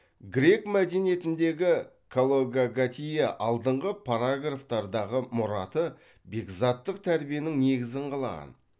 грек мәдениетіндегі калокагатия алдыңғы параграфтардағы мұраты бекзаттық тәрбиенің негізін қалаған